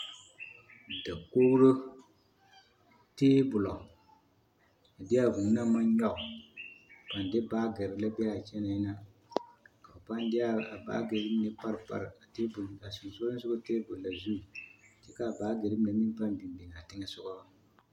Dakogiro, teebolo a de a vūū naŋ maŋ nyɔge, a de baagiri la be a kyɛnaa ka ba pãã de a baagiri mine pare pare a sonsogɔ teebol na zu kyɛ k'a baagiri mine meŋ pãã biŋ biŋaa teŋɛsogɔ.